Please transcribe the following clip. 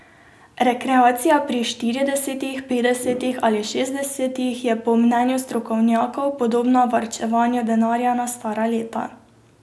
Rekreacija pri štiridesetih, petdesetih ali šestdesetih je po mnenju strokovnjakov podobna varčevanju denarja na stara leta.